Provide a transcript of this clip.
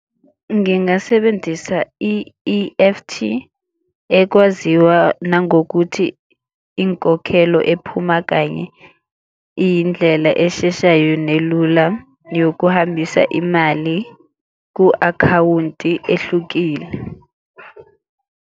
Ngingasebenzisa i-E_F_T ekwaziwa nangokuthi inkokhelo ephuma kanye iyindlela esheshayo nelula yokuhambisa imali ku-akhawunti ehlukile.